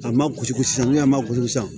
A ma gosi san ni a ma gosi san